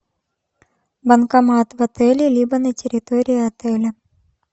банкомат в отеле либо на территории отеля